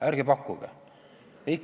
Ärge pakkuge!